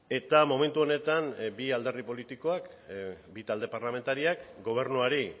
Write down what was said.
eta momentu honetan bi alderdi politikoak bi talde parlamentariak gobernuari